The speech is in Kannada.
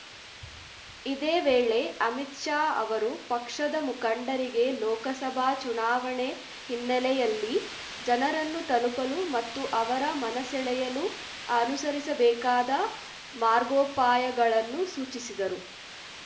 ಇದೇ ವೇಳೆ ಅಮಿತ್‌ ಶಾ ಅವರು ಪಕ್ಷದ ಮುಖಂಡರಿಗೆ ಲೋಕಸಭಾ ಚುನಾವಣೆ ಹಿನ್ನೆಲೆಯಲ್ಲಿ ಜನರನ್ನು ತಲುಪಲು ಮತ್ತು ಅವರ ಮನಸೆಳೆಯಲು ಅನುಸರಿಸಬೇಕಾದ ಮಾರ್ಗೋಪಾಯಗಳನ್ನು ಸೂಚಿಸಿದರು